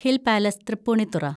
hill‍ Palace, Tripunithura